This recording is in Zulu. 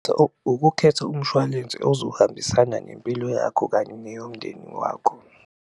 Ukukhetha umshwalense ozohambisana nempilo yakho kanye neyomndeni wakho.